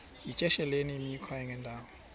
yityesheleni imikhwa engendawo